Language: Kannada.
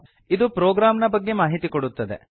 ಇದು ಪ್ರೊಗ್ರಾಮ್ ನ ಬಗ್ಗೆ ಮಾಹಿತಿ ಕೊಡುತ್ತದೆ